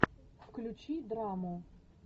включи драму